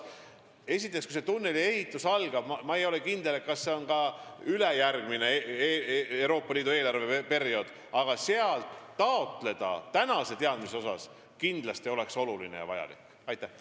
Kui selle tunneli ehitus algab – ma ei ole kindel, kas see tähendab ülejärgmist Euroopa Liidu eelarveperioodi –, oleks kindlasti oluline ja vajalik sealt praeguse teadmise pealt raha taotleda.